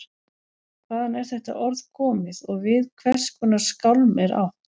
Hvaðan er þetta orð komið og við hvers konar skálm er átt?